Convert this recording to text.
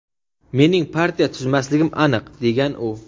"Mening partiya tuzmasligim aniq", degan u.